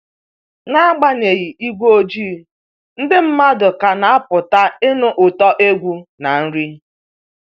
N'agbanyeghị igwe ojii, ndị mmadụ ka na-apụta ịnụ ụtọ egwu na nri